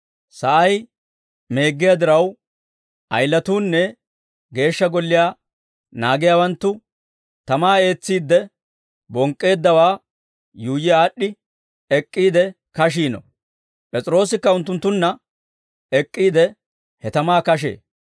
Sa'ay meeggiyaa diraw, ayilatuunne Geeshsha Golliyaa naagiyaawanttu tamaa ees's'iidde, bonk'k'eeddawaa yuuyyi aad'd'i ek'k'iide kashiino; P'es'iroosikka unttunttunna ek'k'iide, he tamaa kashee.